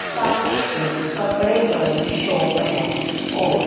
सामने एक कपडे वाली शॉप हैं और--